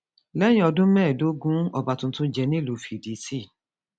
lẹyìn ọdún mẹẹẹdógún ọba tuntun jẹ nílùú fídítì